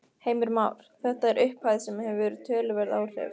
Heimir Már: Þetta er upphæð sem að hefur töluverð áhrif?